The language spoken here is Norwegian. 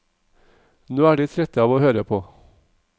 Nå er de trette av å høre på.